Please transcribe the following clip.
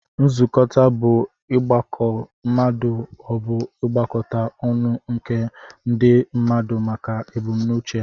Nzukọta bu igbakọt ma obu igbakọta ọnụ nke ndi mmadu maka ebumnuche ha.